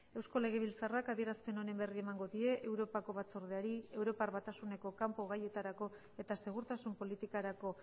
eusko legebiltzarrak adierazpen honen berri emango die europako batzordeari europar batasuneko kanpo gaietarako eta segurtasun politikarako